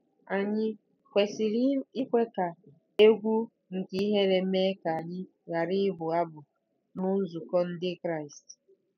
Ànyị kwesịrị ikwe ka egwu nke ihere mee ka anyị ghara ịbụ abụ ná nzukọ Ndị Kraịst?